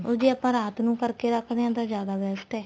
ਜੇ ਆਪਾਂ ਰਾਤ ਨੂੰ ਕਰ ਕੇ ਰੱਖਦੇ ਆ ਜਿਆਦਾ best ਏ